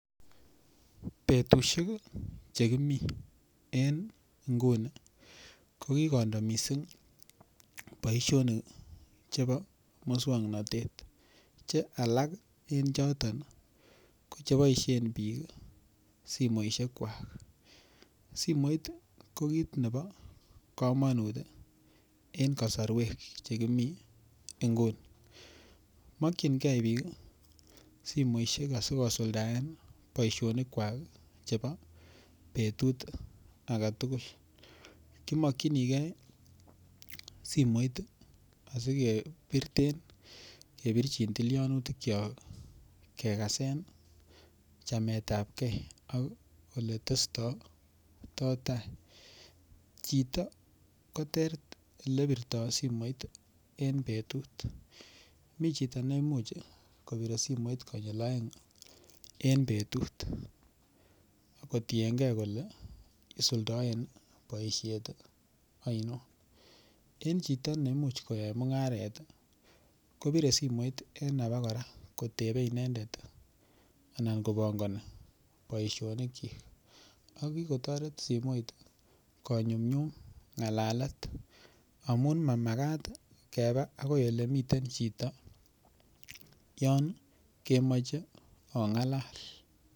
Betushek chekimii eng nguni ko kikondo mising boishonik chebo muswongnotet che alak eng choton kochepoishen biik simoshek kwach simoit ko kiit nebo komonut eng kosorwek chekimi nguni mokchingei biik simoishek asikosuldaen boishonik kwak chebo betut ake tugul kimokchinikei simoit asike birten kebirchin tilionutuk cho kekasen chamet ap kee oletestitoi tai kiitok ko ter ter olebirtoi simoit en betut mi chito neimuch kobire simoit konyil oeng eng betut kotienkei kole isuldoen boishet aino en chito neimuch koyai mung'aret kobire simoit en ake kora kotebe inendet anan kobongoni boishonik chi ak kikotoret simoit konyumnyum ngalalet amun mamakat keba akoi olemiten chito yon kemoche ong'alal.